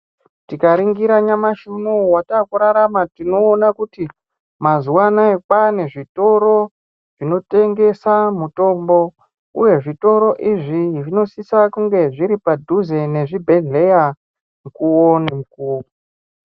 Tika ringira nyamashi unowu wataku rarama tinoona kuti mazuva anaya kwane zvitoro zvino tengesa mutombo uye zvitoro izvi zvinosisa kunge zviri padhuze nezvi bhedhleya mukuwo ne mukuwo.